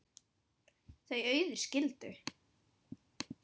Þau Auður skildu.